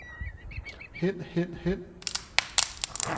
hen hen hen